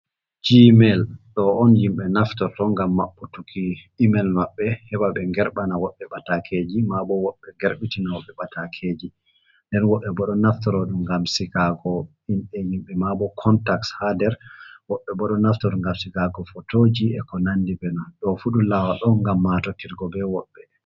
Gmail ɗo on yimɓe naftorto ngam maɓɓu tuki email maɓɓe, heɓaɓe nger ɓana woɓɓe patakeji, mabo woɓɓe nger ɓitinoɓe woɓɓe patakeji. Nden woɓɓe boɗo naftoro ɗum ngam sigago inɗe himɓe mabo contak ha nder. Woɓɓe bo ɗo naftoro ngam sigago photoji e ko nandi be man ɗo fu ɗum lawol on ngam matotirgo be woɓɓe.